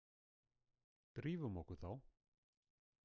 Drífum okkur þá